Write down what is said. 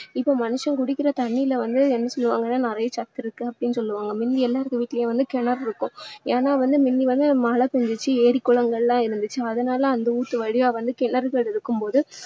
இப்போ மனுஷன் குடிக்கிற தண்ணீல வந்து என்ன சொல்லுவாங்கன்னா நிறைய சத்து இருக்கு அப்படின்னு சொல்லுவாங்க முந்தி எல்லார் வீட்டுலேயும் கிணறு இருக்கும். ஏன்னா வந்து முந்தி வந்து மழை பெஞ்சுச்சு ஏரி, குளங்கள் எல்லாம் இருந்துச்சு அதனால அந்த ஊத்து வழியா வந்து கிணறுகள் இருக்கும் போது